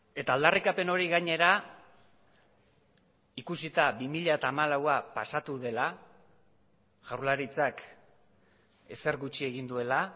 eta aldarrikapen hori gainera ikusita bi mila hamalaua pasatu dela jaurlaritzak ezer gutxi egin duela